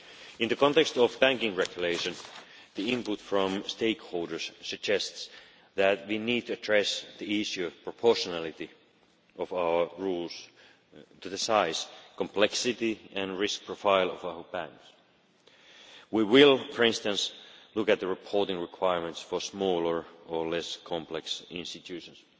In the context of banking regulation, the input from stakeholders suggests that we need to address the issue of the proportionality of our rules to the size, complexity and risk profile of our banks. We will, for instance, look at the reporting requirements for smaller or less complex institutions.